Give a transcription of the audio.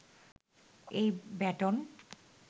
এই ব্যাটন